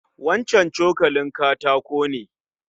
Wancan cokalin katako ne?